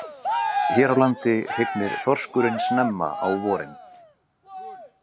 Hér á landi hrygnir þorskurinn snemma á vorin.